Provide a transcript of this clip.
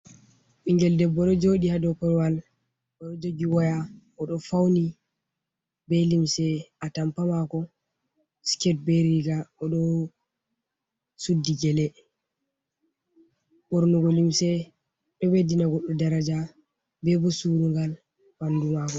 Ɓingel debbo ɗo jooɗi haa dou korwal, oɗo jogi waya, o ɗo fauni be limse atampa mako, skirt be riga. O ɗo suddi gele. Ɓornugo limse ɗo ɓeddina goɗɗo daraja be bo surungal ɓandu maako.